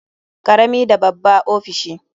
Karami da babba ofishi.